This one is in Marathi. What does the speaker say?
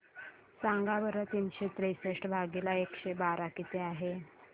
सांगा बरं तीनशे त्रेसष्ट भागीला एकशे बारा किती आहे